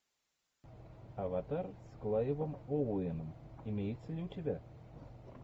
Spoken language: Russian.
аватар с клайвом оуэном имеется ли у тебя